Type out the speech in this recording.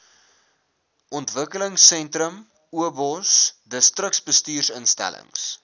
ontwikelingsentrum obos distriksbestuursinstellings